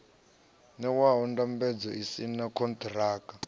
ṋewaho ndambedzo u saina konṱiraka